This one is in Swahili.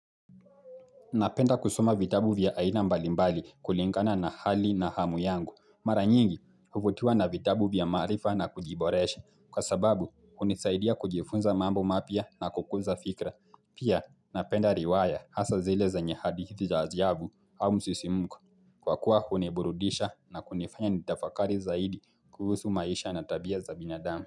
Napenda kusoma vitabu vya aina mbalimbali kulingana na hali na hamu yangu mara nyingi huvutiwa na vitabu vya maarifa na kujiboresha kwa sababu hunisaidia kujifunza mambo mapya na kukuza fikra pia napenda riwaya hasa zile zenye hadithi za ajabu au msisimko Kwa kuwa huniburudisha na kunifanya nitafakari zaidi kuhusu maisha na tabia za binadamu.